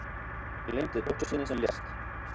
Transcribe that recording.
Gleymdi dóttur sinni sem lést